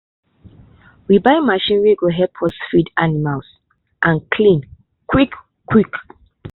we buy machine wey go help us feed animals and clean quick quick.